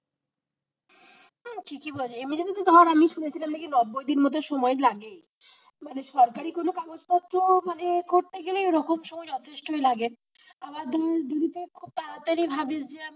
হ্যাঁ ঠিকই বলেছিস এমনিতে তো ধর আমি তো শুনেছিলাম দশ দিন মতো সময় লাগেই, মানে সরকারি কোন কাগজপত্র মানে করতে গেলেই ওরকম মানে ওই রকম সময় যথেষ্ট লাগে, আবার যদি তুই তাড়াতাড়ি ভাবিস যে,